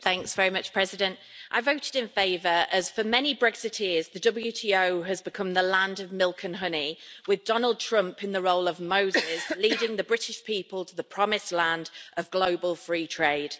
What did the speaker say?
Madam President, I voted in favour, as for many Brexiteers the WTO has become the land of milk and honey, with Donald Trump in the role of Moses, leading the British people to the promised land of global free trade.